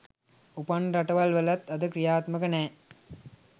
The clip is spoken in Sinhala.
උපන්න රටවල් වලවත් අද ක්‍රියාත්මක නෑ.